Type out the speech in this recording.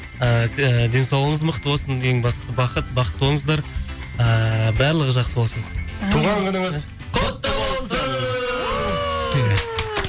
ііі денсаулығыңыз мықты болсын ең бастысы бақыт бақытты болыңыздар ыыы барлығы жақсы болсын туған күніңіз құтты болсын